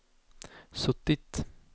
suttit